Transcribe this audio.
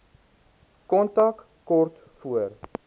kontak kort voor